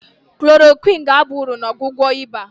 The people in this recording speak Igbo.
klorokwịnụ ga-aba uru na ọgwụgwọ ịba.